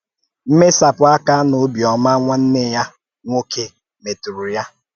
Mmèsapụ̀ àkà na òbiọ́má nwànnè ya nwòké a mètùrù ya.